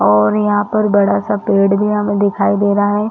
और यहाँ पर बड़ा- सा पेड़ भी हमें दिखाई दे रहा है।